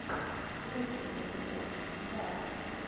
лучший эпизод жжар